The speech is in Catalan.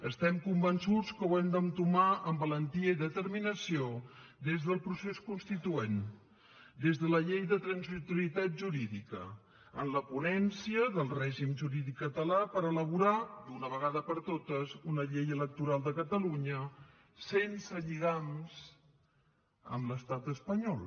estem convençuts que ho hem d’entomar amb valentia i determinació des del procés constituent des de la llei de transitorietat jurídica en la ponència del règim jurídic català per elaborar d’una vegada per totes una llei electoral de catalunya sense lligams amb l’estat espanyol